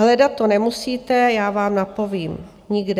Hledat to nemusíte, já vám napovím: nikde.